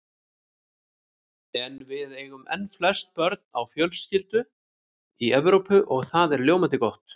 En við eigum enn flest börn á fjölskyldu í Evrópu og það er ljómandi gott.